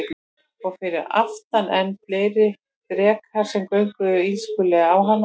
Og fyrir aftan enn fleiri drekar sem görguðu illskulega á hana.